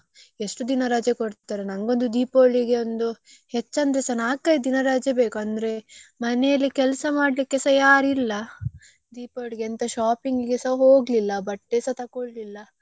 ಎಷ್ಟು ದಿನ ರಜೆ ಕೊಡ್ತಾರೆ ನಗೊಂದು Deepavali ಗೊಂದು ಹೇಚ್ಚ್ ಅಂದ್ರೆಸಾ ನಾಕ್ ಐದು ದಿನ ರಜೆ ಬೇಕು ಅಂದ್ರೆ ಮನೆಯಲ್ಲಿ ಕೆಲ್ಸ ಮಾಡ್ಲಿಕ್ಕೆಸಾ ಯಾರಿಲ್ಲ Deepavali ಗೆ ಎಂತ shopping ಗೆ ಸಾ ಹೋಗ್ಲಿಲ್ಲ ಬಟ್ಟೆಸಾ ತಕೊಳ್ಲಿಲ್ಲ.